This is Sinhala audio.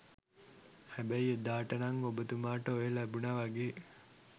හැබැයි එදාට නං ඔබතුමාට ඔය ලැබුනා වගේ